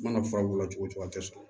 I mana fura k'o la cogo o cogo a tɛ sɔrɔ